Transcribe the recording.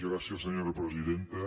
gràcies senyora presidenta